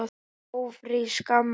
Ófrísk, amma!